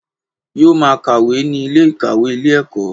Yóò máa kàwé ní Ilé ìkàwé Ilé ẹ̀kọ́